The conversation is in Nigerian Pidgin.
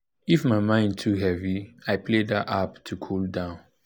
if my mind too heavy i play that app to cool down.